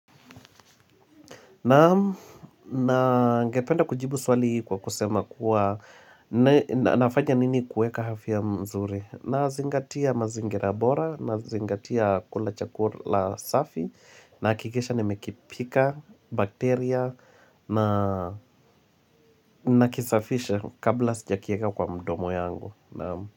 Na ningependa kujibu swali kwa kusema kuwa nafanya nini kueka afya mzuri Nazingatia mazingira bora nazingatia kula chakula safi Nahakikisha nimekipika bakteria na nakisafisha kabla sijakieka kwa mdomo yangu.